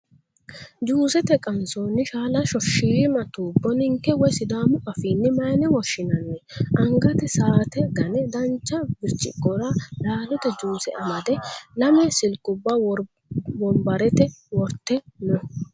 Juusete qansoonni shaalashsho shiima tubbo ninke woyi sidaamu afiinni mayiine woshshinanni ? Angate sa"aate ga'ne dancha virciqora laalote juuse amade lame silkubba wonbarrate worte no.